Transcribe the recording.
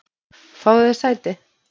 Fáðu þér sæti.